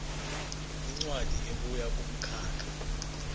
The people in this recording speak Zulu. incwadi ebuya kumkhakha